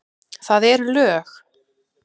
Það eru lög!